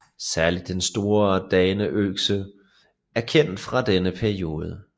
Særligt den store daneøkse er kendt fra denne periode